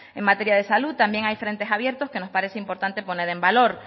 en materia de salud también hay frentes abiertos que nos parece importante poner en valor